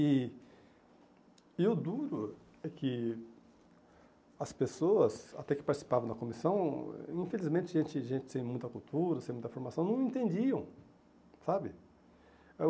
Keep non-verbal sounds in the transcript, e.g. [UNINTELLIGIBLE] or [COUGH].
E e o duro é que as pessoas, até que participavam da comissão, infelizmente, gente gente sem muita cultura, sem muita formação, não entendiam, sabe? [UNINTELLIGIBLE]